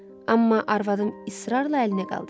Amma arvadım israrla əlini qaldırırdı.